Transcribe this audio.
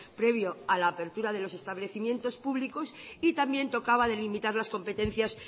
previo a la apertura de los establecimientos públicos y también tocaba delimitar las competencias